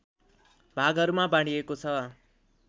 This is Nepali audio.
भागहरूमा बाँडिएको छ